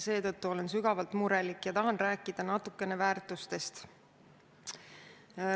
Seetõttu olen sügavalt murelik ja tahan rääkida natukene väärtustest.